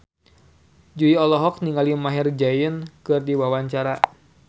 Jui olohok ningali Maher Zein keur diwawancara